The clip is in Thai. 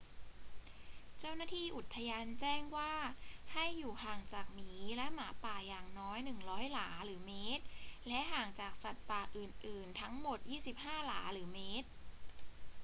เจ้าหน้าที่อุทยานแจ้งว่าให้อยู่ห่างจากหมีและหมาป่าอย่างน้อย 100 หลาหรือเมตร และห่างจากสัตว์ป่าอื่น ๆ ทั้งหมด 25 หลาหรือเมตร